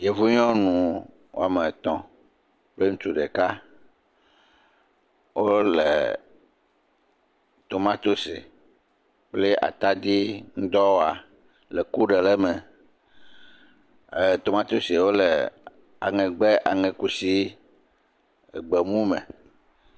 Yevu nyɔnu woame etɔ̃ kple ŋutsu ɖeka, wole tomatsi kple atadi ŋu dɔ wɔa le ku ɖe le eme, tomasiawo le aŋegbɛ aŋekusi gbemu me.